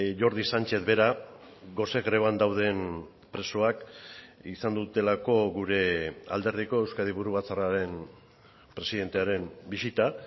jordi sánchez bera gose greban dauden presoak izan dutelako gure alderdiko euskadi buru batzarraren presidentearen bisita